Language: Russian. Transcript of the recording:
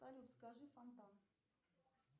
салют скажи фонтан